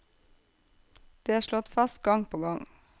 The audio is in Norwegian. Det er slått fast gang på gang.